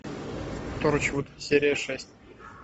торчвуд серия шесть